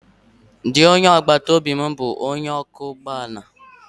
Di onye agbataobi m bụ onye ọkwọ ụgbọ ala